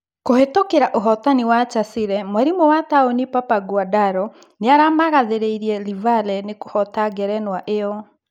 Kũhetũkĩra ũhotani wa Chasile, mwarimu wa Taũni Papa Nguandaro nĩaramagathĩrĩirie Livale nĩkũhoota ngerenwa ĩyo.